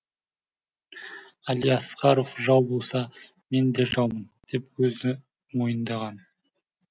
әлиасқаров жау болса мен де жаумын деп өзі мойындаған